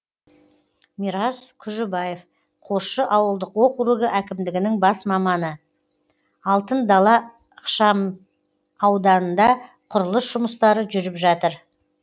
мирас күжібаев қосшы ауылдық округі әкімдігінің бас маманы алтын дала ықшамауданында құрылыс жұмыстары жүріп жатыр